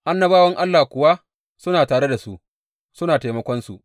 Annabawan Allah kuwa suna tare da su, suna taimakonsu.